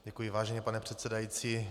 Děkuji, vážený pane předsedající.